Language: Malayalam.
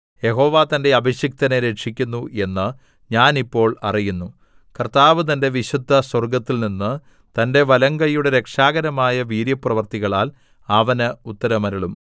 യഹോവ തന്റെ അഭിഷിക്തനെ രക്ഷിക്കുന്നു എന്ന് ഞാൻ ഇപ്പോൾ അറിയുന്നു കർത്താവ് തന്റെ വിശുദ്ധസ്വർഗ്ഗത്തിൽനിന്ന് തന്റെ വലങ്കൈയുടെ രക്ഷാകരമായ വീര്യപ്രവൃത്തികളാൽ അവന് ഉത്തരമരുളും